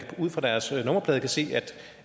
ud fra deres nummerplade kan se